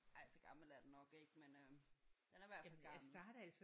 Ej så gammel er den nok ikke men øh den er i hvert fald gammel